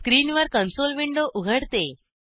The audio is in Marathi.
स्क्रीनवर कंसोल विंडो उघडते